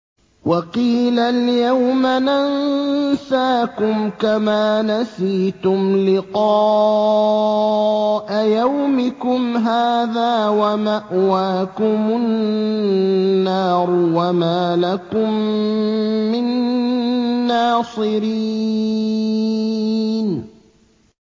وَقِيلَ الْيَوْمَ نَنسَاكُمْ كَمَا نَسِيتُمْ لِقَاءَ يَوْمِكُمْ هَٰذَا وَمَأْوَاكُمُ النَّارُ وَمَا لَكُم مِّن نَّاصِرِينَ